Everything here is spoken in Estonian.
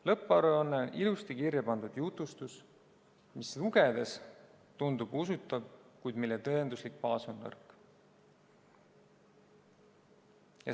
Lõpparuanne on ilusti kirja pandud jutustus, mis lugedes tundub usutav, kuid mille tõenduslik baas on nõrk.